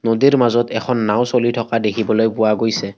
নদীৰ মাজত এখন নাওঁ চলি থকা দেখিবলৈ পোৱা গৈছে।